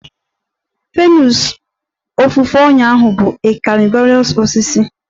Venus ofufe ọnyà bụ a carnivorous osisi